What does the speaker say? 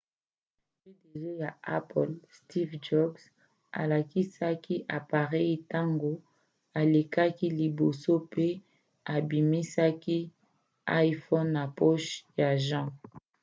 pdg ya apple steve jobs alakisaki apareyi ntango alekaki liboso pe abimisaki l'iphone na poche ya jean